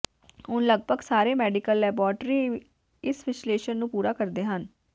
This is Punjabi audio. ਹੁਣ ਲਗਭਗ ਸਾਰੇ ਮੈਡੀਕਲ ਲੈਬਾਰਟਰੀ ਇਸ ਵਿਸ਼ਲੇਸ਼ਣ ਨੂੰ ਪੂਰਾ ਕਰਦੇ ਹਨ